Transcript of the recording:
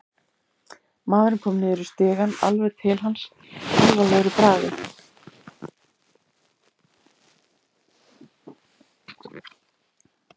Maðurinn kom niður í stigann, alveg til hans, alvarlegur í bragði.